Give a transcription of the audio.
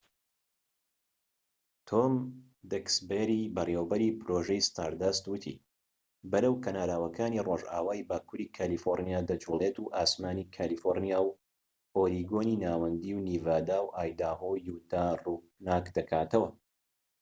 تۆم دەکسبەری بەڕێوەبەری پرۆژەی ستاردەست وتی بەرەو کەناراوەکانی رۆژئاوای باكووری کالیفۆرنیا دەجوڵێت و ئاسمانی کالیفۆرنیا و ئۆریگۆنی ناوەندی و نیڤادا و ئایداهۆ و یوتاه ڕووناک دەکاتەوە